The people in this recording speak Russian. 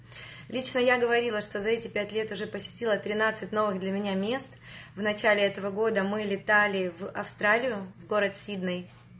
лично я говорила что за эти пять лет уже посетила тринадцать новых для меня мест в начале этого года мы летали в австралию в город сидней